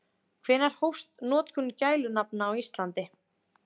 Hvenær hófst notkun gælunafna á Íslandi?